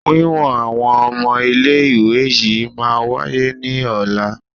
Wíwọn àwọn ọmọ ilé ìwé yìí máa wáyé ní ọ̀la.